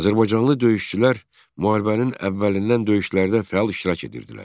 Azərbaycanlı döyüşçülər müharibənin əvvəlindən döyüşlərdə fəal iştirak edirdilər.